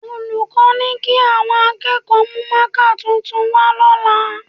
Olùkọ́ ni kí àwọn akẹ́kọ̀ọ́ mú mákà tuntun wá lọ́la